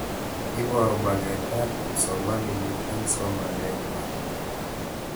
Iparu maget ab kipsomanik eng'somanet ng'wai